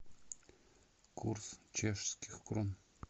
курс чешских крон